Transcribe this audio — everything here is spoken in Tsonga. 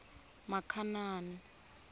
makhanani